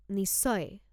নিশ্চয়।